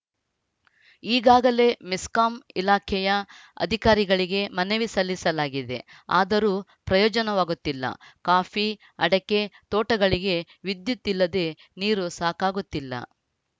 ಈಗಾಗಲೇ ಮೆಸ್ಕಾಂ ಇಲಾಖೆಯ ಅಧಿಕಾರಿಗಳಿಗೆ ಮನವಿ ಸಲ್ಲಿಸಲಾಗಿದೆ ಆದರೂ ಪ್ರಯೋಜನವಾಗುತ್ತಿಲ್ಲ ಕಾಫಿ ಅಡಕೆ ತೋಟಗಳಿಗೆ ವಿದ್ಯುತ್‌ ಇಲ್ಲದೆ ನೀರು ಸಾಕಾಗುತ್ತಿಲ್ಲ